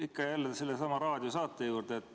Ikka ja jälle sellesama raadiosaate juurde.